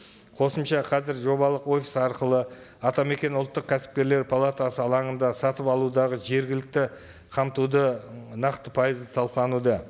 қосымша қазір жобалық офис арқылы атамекен ұлттық кәсіпкерлер палатасы алаңында сатып алудағы жергілікті қамтуды нақты пайызы талқылануда